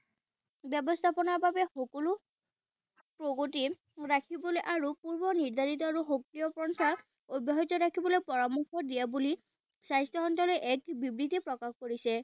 ব্যৱস্থাপনাৰ বাবে সকলো প্ৰগতি ৰাখিবলৈ আৰু পূৰ্ব নিৰ্ধাৰিত আৰু সক্ৰিয় অব্যাহত ৰাখিবলৈ পৰামৰ্শ দিয়া বুলি স্বাস্থ্য মন্ত্ৰালয়ে এক বিবৃতি প্ৰকাশ কৰিছে।